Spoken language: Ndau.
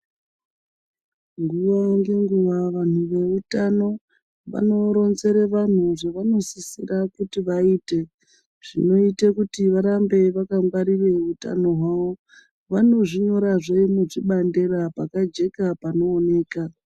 Nguwa ngenguwa vantu veutano vanoronzere vantu zvavanosisira kuti vaite zvinoite kuti varambe vakangwarire utano hwavo vanozvinyorazve nechibandera pakajeka panooneka.